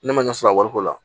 Ne ma ɲɛ sɔrɔ a wariko la